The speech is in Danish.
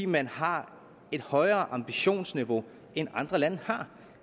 man har et højere ambitionsniveau end andre lande har